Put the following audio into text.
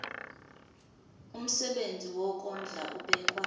umsebenzi wokondla ubekwa